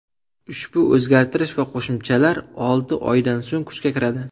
Ushbu o‘zgartirish va qo‘shimchalar olti oydan so‘ng kuchga kiradi.